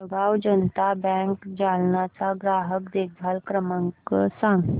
Jalgaon Janata bank Jalna चा ग्राहक देखभाल क्रमांक सांग